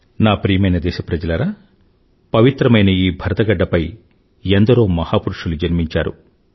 నా ప్రియమైన దేశప్రజలారా పవిత్రమైన ఈ భరతగడ్డపై ఎందరో మహాపురుషులు జన్మించారు